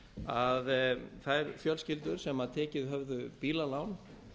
að þær fjölskyldur sem tekið höfðu bílalán